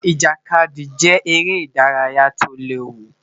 Ijakadi jẹ ere idaraya ti o lewu